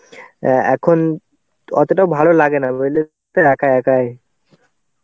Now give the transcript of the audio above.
এখন অতটাও ভালো লাগে না বুঝলে তো একা একাই.